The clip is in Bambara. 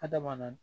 Adama